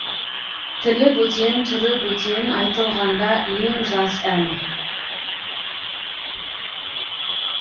тілі бөтен түрі бөтен айтылғанда ең жас ән